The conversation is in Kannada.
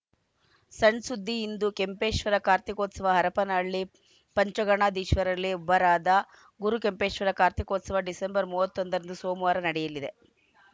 ಸಣ್‌ ಸುದ್ದಿ ಇಂದು ಕೆಂಪೇಶ್ವರ ಕಾರ್ತೀಕೋತ್ಸವ ಹರಪನಹಳ್ಳಿ ಪಂಚಗಣಾಧೀಶರಲ್ಲಿ ಒಬ್ಬರಾದ ಗುರುಕೆಂಪೇಶ್ವರ ಕಾರ್ತೀಕೋತ್ಸವ ಡಿಸೆಂಬರ್ ಮೂವತ್ತ್ ಒಂದರಂದು ಸೋಮವಾರ ನಡೆಯಲಿದೆ